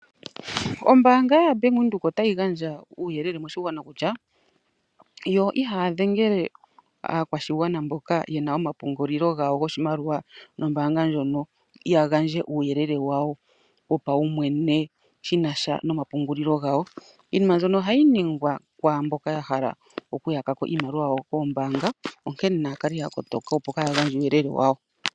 Ombanga yaBank Windhoek otayi gandja uuyelele moshigwana kutya yo ihaya dhengele aakwashigwana mboka ye na omapungulilo gawo goshimaliwa nombanga ndjono ya gandje uuyelele wawo wopaumwene shinasha nomapungulili gawo. Iinima mbyono phayi ningwa kwaamboka ya hala okuyakapo iimaliwa yawo kombanga nonkene naya kale ya kotoka opo kaaya gandje uuyelele wawo.